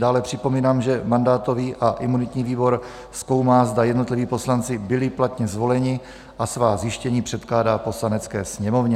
Dále připomínám, že mandátový a imunitní výbor zkoumá, zda jednotliví poslanci byli platně zvoleni, a svá zjištění předkládá Poslanecké sněmovně.